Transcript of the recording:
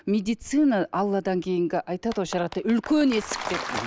медицина алладан кейінгі айтады ғой шариғатта үлкен есік деп